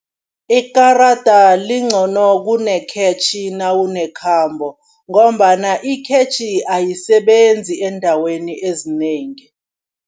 Ikarada lincono kunekhetjhi nawunekhambo ngombana ikhetjhi ayisebenzi eendaweni ezinengi.